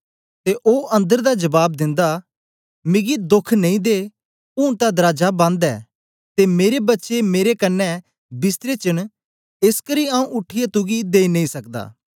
ते ओ अन्दर दा जबाब दिंदा मिगी दोख नेई दे ऊन तां दराजा बन्द ऐ ते मेरे बच्चे मेरे कन्ने बिस्तरे च न एसकरी आऊँ उठीयै तुगी देई नेई सकदा